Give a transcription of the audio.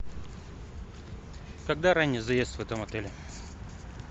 когда ранний заезд в этом отеле